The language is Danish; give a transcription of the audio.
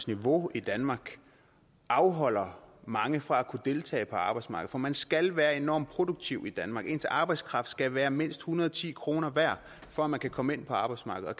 niveau i danmark afholder mange fra at kunne deltage på arbejdsmarkedet for man skal være enormt produktiv i danmark ens arbejdskraft skal være mindst en hundrede og ti kroner værd for at man kan komme ind på arbejdsmarkedet